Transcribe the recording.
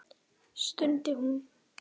stundi hún.